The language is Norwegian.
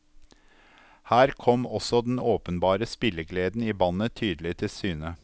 Her kom også den åpenbare spillegleden i bandet tydelig til syne.